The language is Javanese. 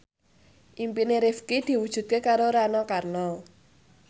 impine Rifqi diwujudke karo Rano Karno